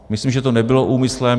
Myslím, že to nebylo úmyslem.